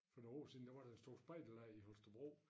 For nogen år siden der var der en stor spejderlejr i Holstebro